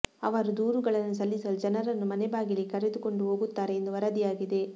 ಅವರು ದೂರುಗಳನ್ನು ಸಲ್ಲಿಸಲು ಜನರನ್ನು ಮನೆ ಬಾಗಿಲಿಗೆ ಕರೆದುಕೊಂಡು ಹೋಗುತ್ತಾರೆ ಎಂದು ವರದಿಯಾಗಿದೆ